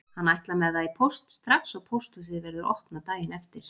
Hann ætlar með það í póst strax og pósthúsið verður opnað daginn eftir.